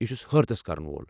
یہ چُھس حٲرتس كرن وول ۔